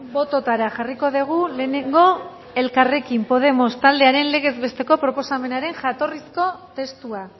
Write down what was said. bototara jarriko dugu lehenengo elkarrekin podemos taldearen legez besteko proposamenaren jatorrizko testua